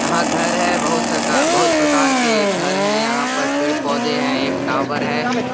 यहाँ घर है बहुत प्रकार के घर है यहाँ पर पेड़ पौधे है एक टावर है। ]